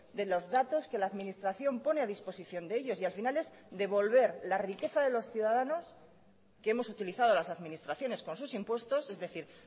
de los datos que la administración pone a disposición de ellos y al final es devolver la riqueza de los ciudadanos que hemos utilizado las administraciones con sus impuestos es decir